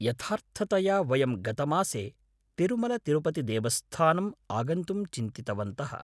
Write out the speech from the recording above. यथार्थतया वयं गतमासे तिरुमलतिरुपतिदेवस्थानम् आगन्तुं चिन्तितवन्तः।